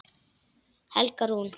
Helga Rún.